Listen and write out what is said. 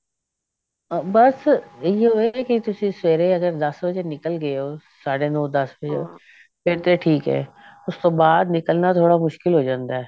ਬਸ ਏਹਿਓ ਹੈ ਕਿ ਤੁਸੀਂ ਸਵੇਰੇ ਅਗਰ ਦਸ ਵਜੇ ਨਿਕਲ ਗਏ ਹੋ ਸਾਡੇ ਨੋ ਦਸ ਵਜੇ ਫੇਰ ਤੇ ਠੀਕ ਐ ਉਸ ਤੋਂ ਬਾਅਦ ਨਿਕਲਣਾ ਥੋੜਾ ਮੁਸ਼ਕਿਲ ਹੋ ਜਾਂਦਾ